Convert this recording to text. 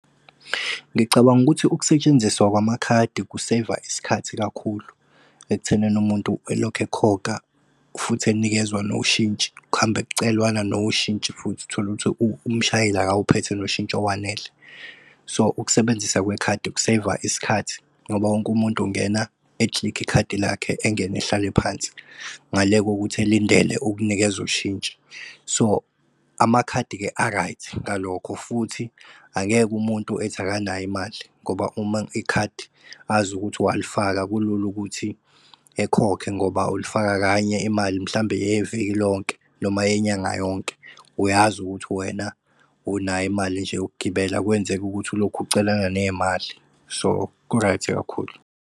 Ngicabanga ukuthi ukusetshenziswa kwamakhadi ku-save-a isikhathi kakhulu ekuthenini umuntu elokhu ekhokha futhi enikezwa noshintshi. Kuhambe kucelwana noshintshi futhi tholukuthi umshayeli akawuphethe noshintshi owanele. So ukusebenzisa kwekhadi uku-save-a isikhathi ngoba wonke umuntu ungena e-click-e ikhadi lakhe engene ehlale phansi ngale kokuthi elindele ukunikeza ushintshi. So amakhadi-ke a-right ngalokho futhi angeke umuntu ethi akanayo imali ngoba uma ikhadi azi ukuthi walifaka kulula ukuthi ekhokhe. Ngoba ulifaka kanye imali mhlambe eyeviki lonke noma eyenyanga yonke, uyazi ukuthi wena unayo imali nje yokugibela, akwenzeki ukuthi ulokhu ucelana ney'mali so ku-right kakhulu.